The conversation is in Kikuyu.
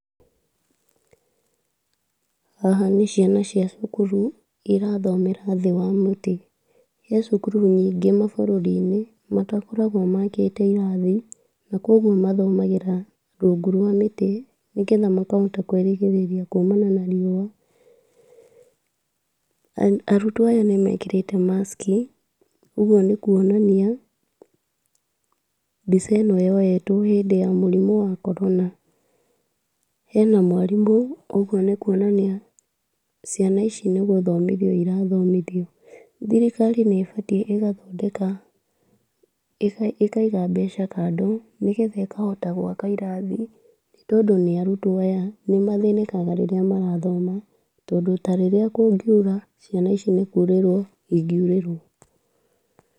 Haha nĩciana cia cukuru irathomera thĩ wa mũtĩ. Gwĩ cukuru nyingĩ mabũrũri-inĩ matakoragwo makĩte irathi na kwĩna amwe mathagĩra rungu rwa mĩtĩ, nĩgetha makahota kwĩrigĩrĩria kumana na riũa. Arutwo aya nĩmekĩrĩte maski, ũguo nĩkwonania mbica ĩno yoetwo hĩndĩ ya mũrimũ wa korona. Hena mwarimũ, ũguo nĩkwonania ciana ici nĩgũthomithio irathomithio. Thirikari nĩbatiĩ ĩgathondeka, ĩkaiga mbeca kando, nĩgetha ĩkahota gwaka irathi, nĩ tondũ nĩ arutwo ata nĩmathĩnĩkaga hĩndĩ ĩrĩa marathoma. Tondũ tarĩrĩa kũngiura ciana ici nĩkurĩrĩrwo ingĩurĩrwo.